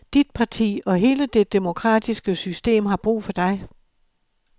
Dit parti og hele det demokratiske system har brug for dig.